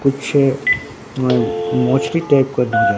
पीछे अ टाइप का --